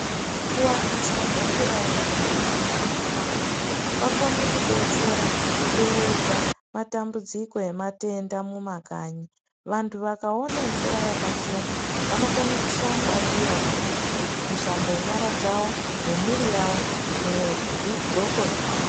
Kuwaniswa kwemvura yakachena mumantaraunda kwakona kudetsera kuderedza matambudziko nematenda mumakanyi vantu vakaona mvura yakachena vanokona kushamba ndiona kushambe nyara dzawo nemwiri yawo nezvidhqoko zvavo.